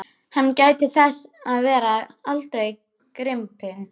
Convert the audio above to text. Hann gæti þess að verða aldrei gripinn.